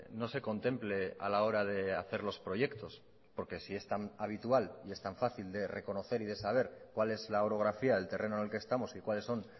no se contemple a la hora de hacer los proyectos porque si es tan habitual y es tan fácil de reconocer y de saber cuál es la orografía del terreno en el que estamos y cuáles son